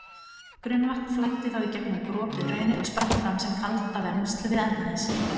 Grunnvatn flæddi þá í gegnum gropið hraunið og spratt fram sem kaldavermsl við enda þess.